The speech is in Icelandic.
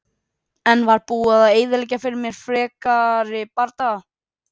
En það var búið að eyðileggja fyrir mér frekari bardaga.